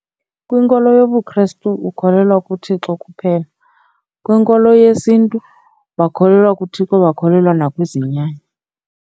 Kwinkolo yobuKristu ukholelwa kuThixo kuphela. Kwinkolo yesiNtu bakholelwa kuThixo, bakholelwa nakwizinyanya.